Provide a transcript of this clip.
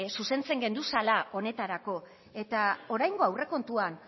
zuzentzen genduzala honetarako eta oraingo aurrekontuan